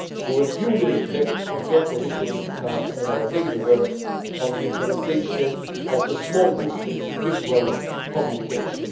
We will duly reflect on your positions in our daily work on the implementation of the Small Business, Big World' communication.